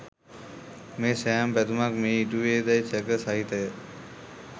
මේ සෑම පැතුමක් ම ඉටුවේ දැයි සැක සහිතය.